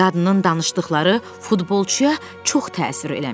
Qadının danışdıqları futbolçuya çox təsir eləmişdi.